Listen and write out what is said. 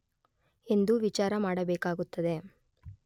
ಎಂದು ವಿಚಾರ ಮಾಡಬೇಕಾಗುತ್ತದೆ.